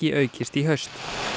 aukist í haust